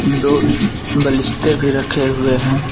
दो बलिश्ते भी रखे हुए हैं।